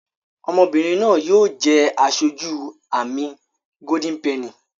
Ọmọbìrìn náa yóò jé aṣojú amí Golden penny.